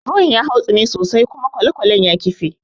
Ruwan ya hautsine sosai kuma kwalekwalen ya kife.